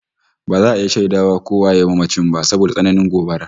Ba za a iya shaida ko waye mamacin ba saboda tsananin gobabar